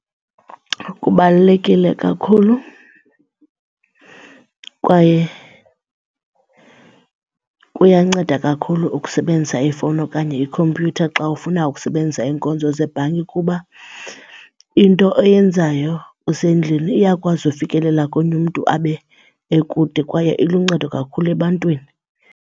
Kubalulekile kakhulu kwaye kuyanceda kakhulu ukusebenzisa ifowuni okanye ikhompyutha xa ufuna ukusebenzisa iinkonzo zebhanki kuba into oyenzayo usendlini iyakwazi ufikelela komnye umntu abe ekude kwaye iluncedo kakhulu ebantwini.